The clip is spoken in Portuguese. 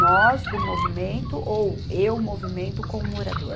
Nós do movimento ou eu movimento com o morador?